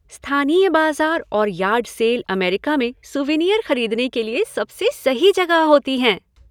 स्थानीय बाजार और यार्ड सेल अमेरिका में सूवेनिर खरीदने के लिए सबसे सही जगह होती हैं।